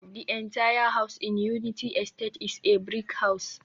the entire house in Unity estate is a brick house